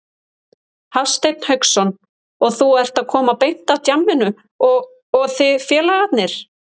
Hafsteinn Hauksson: Og þú ert að koma beint af djamminu og, og þið félagarnir?